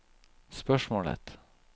spørsmålet